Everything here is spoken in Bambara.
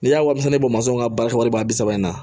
N'i y'a wasa ne bɛ ka baara wari in na